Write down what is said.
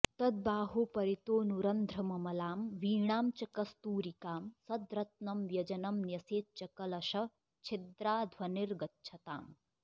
तद्बाह्ये परितोऽनुरन्ध्रममलां वीणां च कस्तूरिकां सद्रत्नं व्यजनं न्यसेच्च कलशच्छिद्राध्वनिर्गच्छताम्